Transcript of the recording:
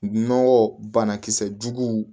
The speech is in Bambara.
Nɔgɔ bana kisɛ juguw